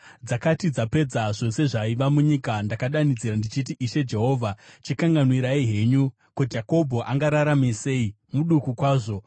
Dzakati dzapedza zvose zvaiva munyika, ndakadanidzira ndichiti, “Ishe Jehovha chikanganwirai henyu! Ko, Jakobho angararame sei? Muduku kwazvo!”